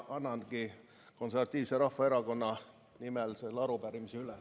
Annangi Eesti Konservatiivse Rahvaerakonna nimel selle arupärimise üle.